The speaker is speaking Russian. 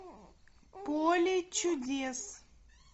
поле чудес